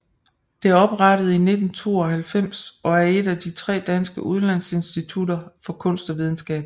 Det er oprettet i 1992 og et af de tre danske udlandsinstitutter for kunst og videnskab